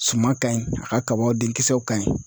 Suman ka ɲi a ka kaba den kisɛw ka ɲi